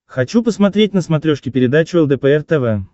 хочу посмотреть на смотрешке передачу лдпр тв